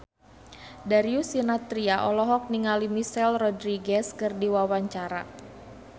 Darius Sinathrya olohok ningali Michelle Rodriguez keur diwawancara